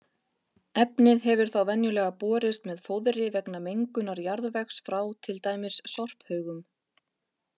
Efnið hefur þá venjulega borist með fóðri vegna mengunar jarðvegs frá til dæmis sorphaugum.